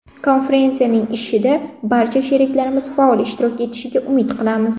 Konferensiyaning ishida barcha sheriklarimiz faol ishtirok etishiga umid qilamiz.